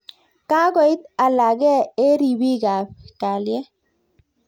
Kakoit alagee eng ripiik ap kelyet